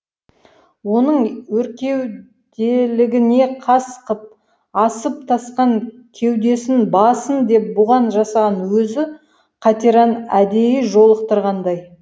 оның өркеуделігіне қас қып асып тасқан кеудесін бассын деп бұған жасаған өзі қатираны әдейі жолықтырғандай